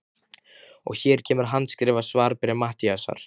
Og hér kemur handskrifað svarbréf Matthíasar